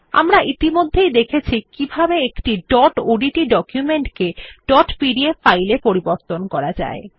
আমরা ইতিমধ্যেই দেখেছি কিভাবে একটি ডট ওডিটি ডকুমেন্ট কে ডট পিডিএফ ফাইল এ পরিবর্তন করা যায়